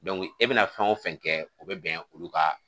e bɛna fɛn o fɛn kɛ o bɛ bɛn olu ka